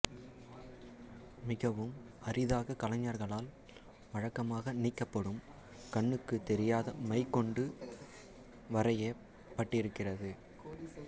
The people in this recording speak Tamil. மிகவும் அரிதாக கலைஞர்களால் வழக்கமாக நீக்கப்படும் கண்ணுக்கு தெரியாத மை கொண்டு வரையப்பட்டிருக்கிறது